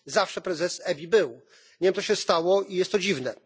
Zawsze prezes EBI był. Nie wiem, co się stało, i jest to dziwne.